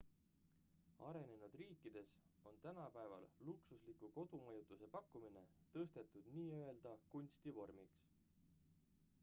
arenenud riikides on tänapäeval luksusliku kodumajutuse pakkumine tõstetud nii-öelda kunstivormiks